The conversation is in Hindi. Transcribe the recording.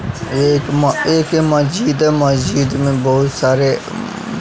एक म एक ये मस्जिद है मस्जिद में बहुत सारे उम्म--